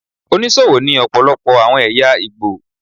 Onísòwò ni ọpọlọpọ àwọn ẹ̀yà Ìgbò.